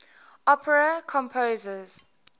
opera composers